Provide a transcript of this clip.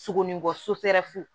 Sogo ni bɔ